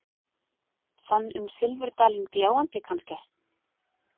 Þann um silfurdalinn gljáandi, kannske?